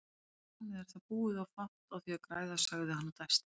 Þarmeð er það búið og fátt á því að græða, sagði hann og dæsti.